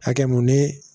Hakɛ mun ni